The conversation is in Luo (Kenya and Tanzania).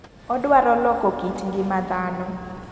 Odwaro loko kit ng'ima dhano.